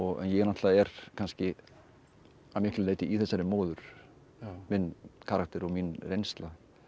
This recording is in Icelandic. ég náttúrulega er kannski að miklu leyti í þessari móður minn karakter og mín reynsla